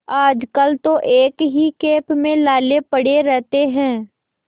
आजकल तो एक ही खेप में लाले पड़े रहते हैं